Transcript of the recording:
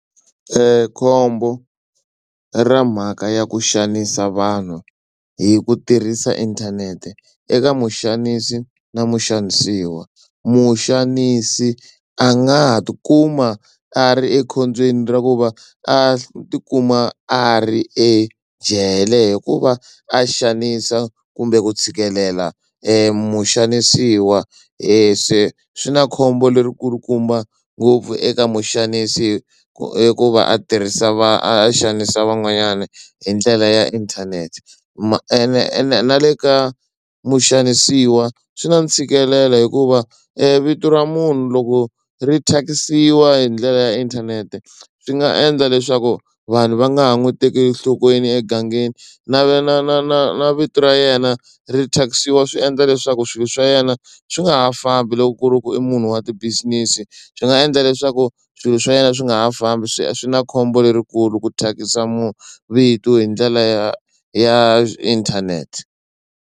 khombo ra mhaka ya ku xanisa vanhu hi ku tirhisa inthanete eka muxanisi na muxanisiwa. Muxanisi a nga ha tikuma a ri ekhombyeni ra ku va a tikuma a ri ejele hikuva a xanisa kumbe ku tshikelela muxanisiwa se swi na khombo leri kulukumba ngopfu eka muxanisi hikuva a tirhisa va a xanisa van'wanyana hi ndlela ya inthanete ma ene ene na le ka muxanisiwa swi na ntshikelelo hikuva vito ra munhu loko ri thyakisiwa hi ndlela ya inthanete swi nga endla leswaku vanhu va nga ha n'wi tekeli enhlokweni egangeni na na na na na na vito ra yena ri thyakisiwa swi endla leswaku swilo swa yena swi nga ha fambi loko ku ri ku i munhu wa ti-business swi nga endla leswaku swilo swa yena swi nga ha fambi swi swi na khombo lerikulu ku thyakisa vito hi ndlela ya ya inthanete